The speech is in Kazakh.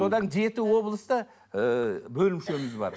содан жеті облыста ыыы бөлімшеміз бар